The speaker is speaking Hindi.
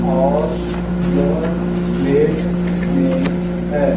और यह प्लेट में है।